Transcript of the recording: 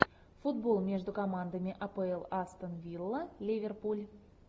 футбол между командами апл астон вилла ливерпуль